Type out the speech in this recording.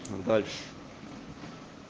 дальше